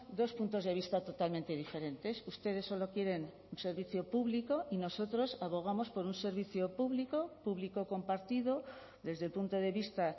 dos puntos de vista totalmente diferentes ustedes solo quieren un servicio público y nosotros abogamos por un servicio público público compartido desde el punto de vista